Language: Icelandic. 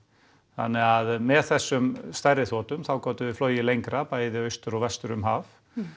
þannig að með þessum stærri þotum þá gátum við flogið lengra bæði austur og vestur um haf